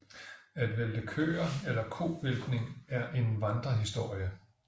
At vælte køer eller kovæltning er en vandrehistorie